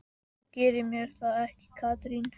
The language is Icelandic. Þú gerir mér það ekki, Katrín.